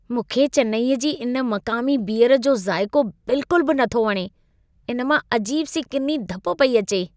मूंखे चेन्नईअ जी इन मक़ामी बियर जो ज़ाइक़ो बिल्कुलु बि नथो वणे। इन मां अजीब सी किनी धप पेई अचे।